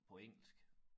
På engelsk